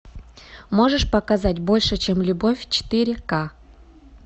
можешь показать больше чем любовь четыре ка